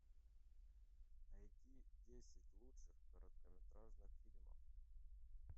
найди десять лучших короткометражных фильмов